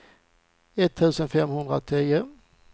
etttusen femhundratio